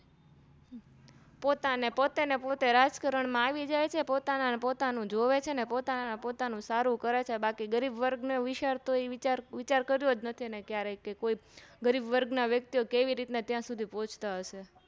પોતાને પતે રાજકારણમાં આવીજાય છે અને પોતાનું જોવે છે પોતાના પોતાનું સારું કરે છે બાકી ગરીબવર્ગ ને વિચારતો કર્યી નથી ક્યારેય ગરીબવર્ગ ના વ્યક્તિઓં કેવી રીતે ત્યાં સુધી ત્યાં પોહ્ચ્તા હશે